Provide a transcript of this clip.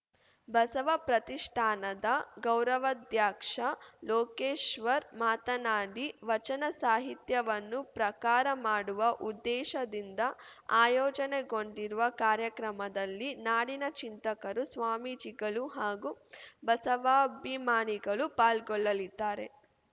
ಬಸವ ಪ್ರತಿಷ್ಠಾನದ ಗೌರವಾಧ್ಯಕ್ಷ ಲೋಕೇಶ್ವರ್‌ ಮಾತನಾಡಿ ವಚನ ಸಾಹಿತ್ಯವನ್ನು ಪ್ರಕಾರ ಮಾಡುವ ಉದ್ದೇಶದಿಂದ ಆಯೋಜನೆಗೊಂಡಿರುವ ಕಾರ್ಯಕ್ರಮದಲ್ಲಿ ನಾಡಿನ ಚಿಂತಕರು ಸ್ವಾಮೀಜಿಗಳು ಹಾಗೂ ಬಸವಾಭಿಮಾನಿಗಳು ಪಾಲ್ಗೊಳ್ಳಲಿದ್ದಾರೆ